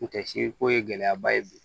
N tɛ si ko ye gɛlɛya ba ye bi